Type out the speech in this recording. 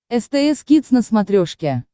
стс кидс на смотрешке